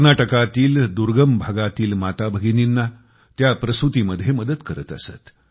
कर्नाटकातील दुर्गम भागातील माता भगिनींना त्या प्रसूतीमध्ये मदत करत असत